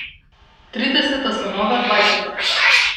Trideseta so nova dvajseta.